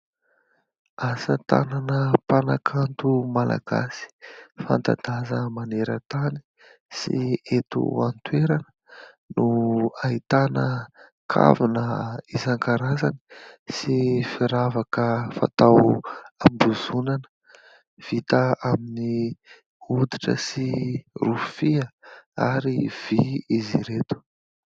Asa tanana mpanakanto malagasy fanta-daza manera-tany sy eto an-toerana no ahitana kavina isan-karazany sy firavaka fatao am-bozonana vita amin'ny hoditra sy rofia ary vy izy ireto.